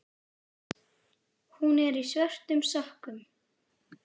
Hún er í svörtum sokkum.